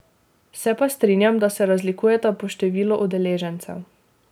Se pa strinjam, da se razlikujeta po številu udeležencev.